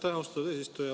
Aitäh, austatud eesistuja!